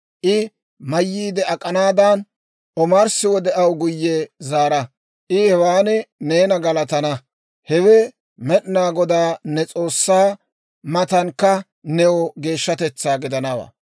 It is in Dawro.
I mayyiide ak'anaadan, omarssi wode aw guyye zaara; I hewan neena galatana. Hewe Med'inaa Godaa ne S'oossaa matankka new geeshshatetsaa gidanawaa.